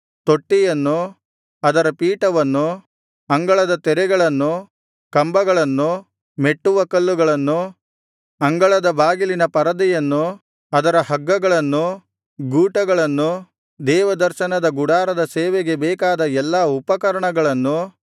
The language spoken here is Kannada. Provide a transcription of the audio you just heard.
ತೊಟ್ಟಿಯನ್ನು ಅದರ ಪೀಠವನ್ನು ಅಂಗಳದ ತೆರೆಗಳನ್ನು ಕಂಬಗಳನ್ನು ಮೆಟ್ಟುವಕಲ್ಲುಗಳನ್ನು ಅಂಗಳದ ಬಾಗಿಲಿನ ಪರದೆಯನ್ನು ಅದರ ಹಗ್ಗಗಳನ್ನು ಗೂಟಗಳನ್ನು ದೇವದರ್ಶನದ ಗುಡಾರದ ಸೇವೆಗೆ ಬೇಕಾದ ಎಲ್ಲಾ ಉಪಕರಣಗಳನ್ನು